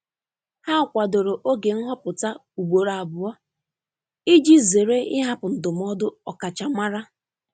Ha kwadoro oge nhọpụta ugboro abụọ iji zere ịhapụ ndụmọdụ ọkachamara.